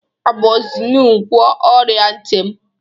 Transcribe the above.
Amozinu gwọọ ọrịa ntị m.